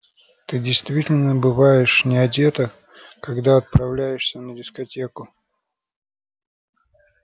ты действительно бываешь не одета когда отправляешься на дискотеку